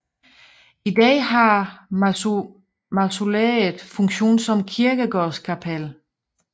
I dag har mausoleet funktion som kirkegårdskapel